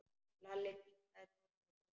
Lalli kinkaði kolli og brosti.